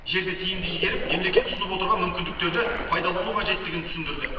жерді тиімді игеріп мемлекет ұсынып отырған мүмкіндіктерді пайдалану қажеттігін түсіндірді